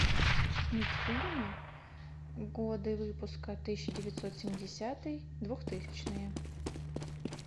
мультфильмы годы выпуска тысяча девятьсот семидесятый двухтысячные